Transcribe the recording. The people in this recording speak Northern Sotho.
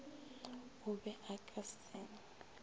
o be a ka se